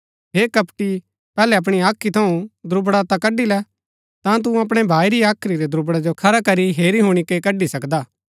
हे कपटी पैहलै अपणी हाख्री थऊँ दुब्रड़ा ता कड़ी लै ता तू अपणै भाई री हाख्री रै दुब्रड़ा जो खरा करी हेरी हुणी कै कड़ी सकदा